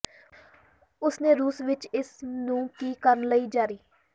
ਉਸ ਨੇ ਰੂਸ ਵਿਚ ਇਸ ਨੂੰ ਕੀ ਕਰਨ ਲਈ ਜਾਰੀ